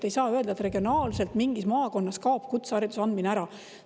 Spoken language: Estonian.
Ei saa öelda, et regionaalselt mingis maakonnas kaob kutsehariduse andmine ära.